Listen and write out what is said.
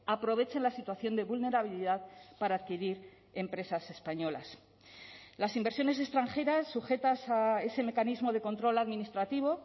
aprovechen la situación de vulnerabilidad para adquirir empresas españolas las inversiones extranjeras sujetas a ese mecanismo de control administrativo